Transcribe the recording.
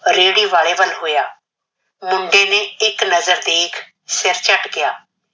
ਰੇਹੜੀ ਵਾਲੇ ਵਲ ਹੋਇਆ । ਮੁੰਡੇ ਨੇ ਇਕ ਨਜ਼ਰ ਦੇਖ ਸਿਰ ਝਟਕਿਆ।